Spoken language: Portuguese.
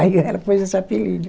Aí ela pôs esse apelido.